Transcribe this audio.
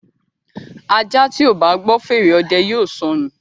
Aja tíó bá gbó fèrè òde yóò sọnu.